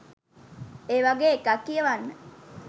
ඒ වගේ එකක් කියවන්න